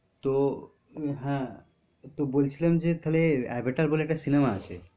তো হ্যাঁ, তো বলছিলাম যে তাহলে avatar বলে একটা cinema আছে।